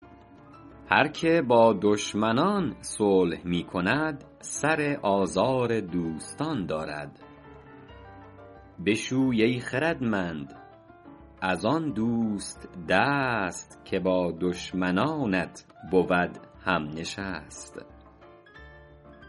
هر که با دشمنان صلح می کند سر آزار دوستان دارد بشوی ای خردمند از آن دوست دست که با دشمنانت بود هم نشست